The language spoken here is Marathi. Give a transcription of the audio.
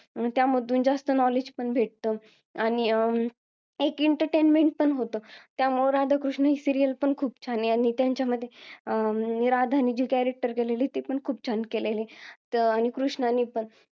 त्यामधून खूप knowledge पण भेटतं आणि अं एक entertainment पण होतं त्यामुळे राधाकृष्ण सिरीयल ही पण खूप छान आहे आणि त्यांच्यामध्ये राधा नी जी character केलेला आहे ते पण खूप छान केलेला आहे आणि कृष्णाने पण